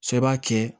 Sɔ b'a kɛ